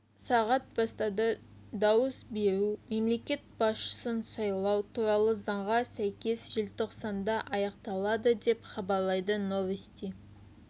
сағат бастады дауыс беру мемлекет басшысын сайлау туралы заңға сәйкес желтоқсанда аяқталады деп хабарлайды новости